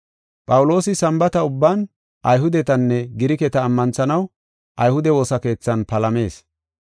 Phawuloosi Sambaata ubban Ayhudetanne Giriketa ammanthanaw ayhude woosa keethan palamees.